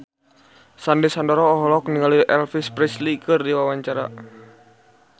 Sandy Sandoro olohok ningali Elvis Presley keur diwawancara